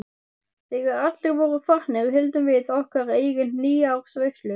Þegar allir voru farnir héldum við okkar eigin nýársveislu.